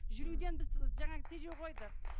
жүруден біз і жаңағы тежеу қойдық